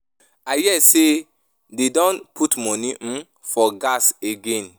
I hear say dey don put money um for gas again.